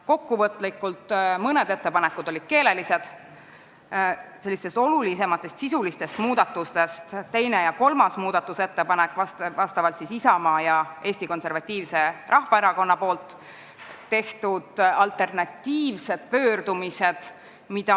Kokkuvõtlikult ütlen, et mõned ettepanekud olid keelelised ning olulisemad sisulised muudatusettepanekud olid teine ja kolmas, s.o Isamaa ja Eesti Konservatiivse Rahvaerakonna tehtud alternatiivsed pöördumised.